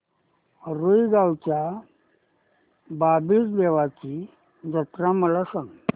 रुई गावच्या बाबीर देवाची जत्रा मला सांग